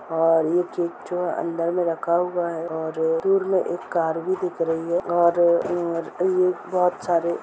और ये केक जो अंदर में रखा हुआ है और दूर में एक कार भी दिख रही है और और ये एक बहुत सारे --